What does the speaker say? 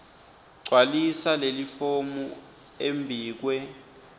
gcwalisa lelifomu embikwe